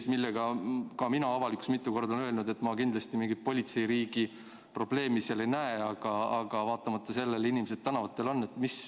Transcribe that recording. Ka mina olen avalikkuses mitu korda öelnud, et ma siin kindlasti mingit politseiriigi probleemi ei näe, aga vaatamata sellele on inimesed tänavatel.